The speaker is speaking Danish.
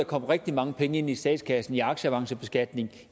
komme rigtig mange penge ind i statskassen i aktieavancebeskatning